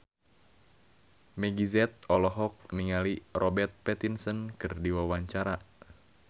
Meggie Z olohok ningali Robert Pattinson keur diwawancara